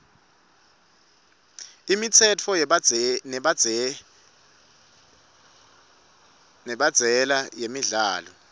imitsetfo nemibandzela yemidlalo